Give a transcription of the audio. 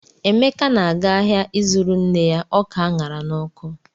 Emeka na-aga ahịa ịzụrụ nne ya ọka a ṅara n'ọkụ.